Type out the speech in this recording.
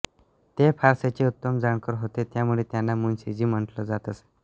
ते फारसीचे उत्तम जाणकार होते त्यामुळे त्यांना मुन्शीजी म्हंटले जात असे